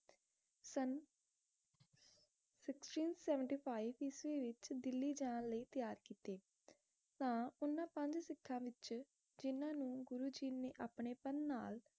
sixteen seventy-five ਈਸਵੀ ਵਿਚ ਦਿੱਲੀ ਜਾਣ ਲਈ ਤਿਆਰ ਕੀਤੇ ਤਾ ਓਹਨਾ ਪੰਜ ਸਿੱਖਾਂ ਵਿਚ ਜਿਨ੍ਹਾਂ ਨੂੰ ਗੁਰੂ ਜੀ ਨੇ ਆਪਣੇਪਨ ਨਾਲ